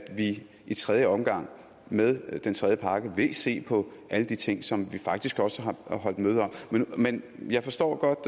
vi i tredje omgang med den tredje pakke vil se på alle de ting som vi faktisk også har holdt møde om men jeg forstår godt